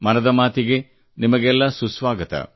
ಮನದ ಮಾತಿಗೆ ನಿಮಗೆಲ್ಲ ಸುಸ್ವಾಗತ